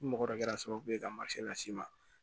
Ni mɔgɔ dɔ kɛra sababu ye ka las'i ma